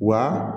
Wa